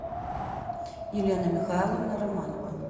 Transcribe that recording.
елена михайловна романова